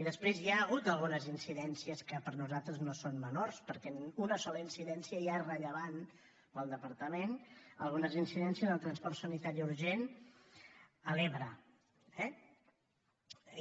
i després hi ha hagut algunes incidències que per a nosaltres no són menors perquè una sola incidència ja és rellevant per al departament algunes incidències en el transport sanitari urgent a l’ebre eh